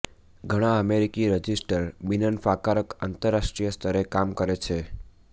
ઘણા અમેરિકી રજીસ્ટર બિનનફાકારક આંતરરાષ્ટ્રીય સ્તરે કામ કરે છે